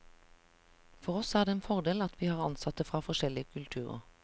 For oss er det en fordel at vi har ansatte fra forskjelige kulturer.